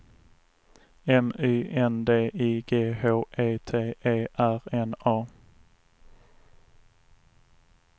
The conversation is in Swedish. M Y N D I G H E T E R N A